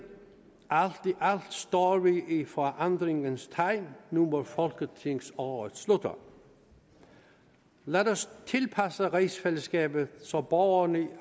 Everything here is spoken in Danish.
alt står vi i forandringens tegn nu hvor folketingsåret slutter lad os tilpasse rigsfællesskabet så borgerne i